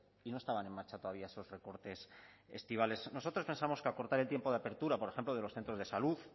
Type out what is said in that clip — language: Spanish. y no estaban en marcha todavía esos recortes estivales nosotros pensamos que acortar el tiempo de apertura por ejemplo de los centros de salud